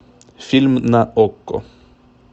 фильм на окко